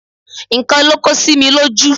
Nǹkan ló kó sí mi lójú